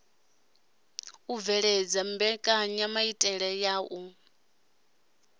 u bveledza mbekenyamaitele ya u